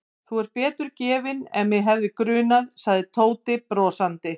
Þú ert betur gefinn en mig hefði grunað sagði Tóti brosandi.